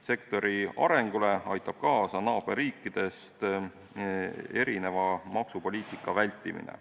Sektori arengule aitab kaasa naaberriikide maksupoliitikast erineva maksupoliitika vältimine.